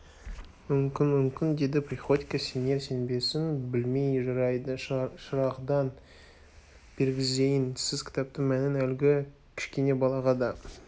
мүмкін мүмкін деді приходько сенер-сенбесін білмей жарайды шырағдан бергізейін сіз кітаптың мәнін әлгі кішкене балаға да